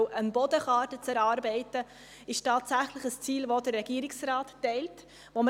Denn der Regierungsrat teilt tatsächlich das Ziel, eine Bodenkarte zu erarbeiten.